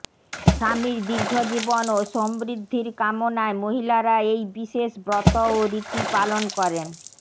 স্বামীর দীর্ঘজীবন ও সমৃদ্ধির কামনায় মহিলারা এই বিশেষ ব্রত ও রীতি পালন করেন